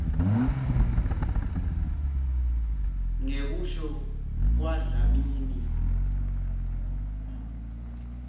ngekusho kwadlamini m